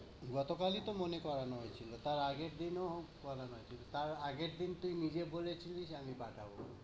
গতকালই তো মনে করানো হয়েছিলো, তাও আগের দিনো করানো হয়েছিলো। তার আগের দিন তুই নিজে বলেছিলিস আমি পাঠাবো।